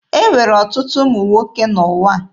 E nwere ọtụtụ ụmụ nwoke n'ụwa.